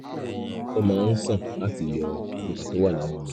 ó máa ń sàn láti yọ òkúta tó wà nínú rẹ̀